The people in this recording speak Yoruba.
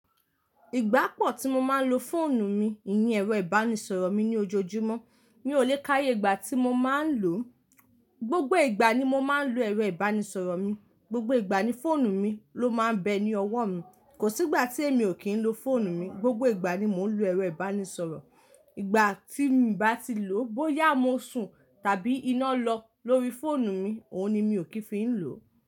Ìgbà pọ̀ tí mó máa ń lò fóònù mi, ìyén ẹ̀rọ ìbánisọ̀rọ̀ mi ní ojoojúmọ́. Mi ò lè ká íyé ìgbà tí mó máa ń lò ó. Gbògbò ìgbà ni mò máa ń lò ẹ̀rọ ìbánisọ̀rọ̀ mi. Gbògbò ìgbà ni fóònù mi ló máa ń bẹ ní ọwọ́ mi. Kò sí ìgbà tí èmi ò kí ń lo fóònù mi. Gbògbò ìgbà ni mò ń lo ẹ̀rọ ìbánisọ̀rọ̀. Ìgbà tí mo bá ti lò ó, bóyá mo sùn tàbí iná lọ lórí fóònù mi, òun ni mi ò kí fi ń lò ó.